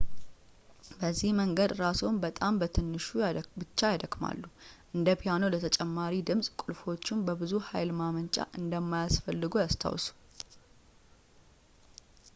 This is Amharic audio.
በዚህ መንገድ ራስዎን በጣም በትንሹ ብቻ ያደክማሉ እንደ ፒያኖ ለተጨማሪ ድምፅ ቁልፎቹን በብዙ ኃይል መጫን እንደማያስፈልግዎ ያስታውሱ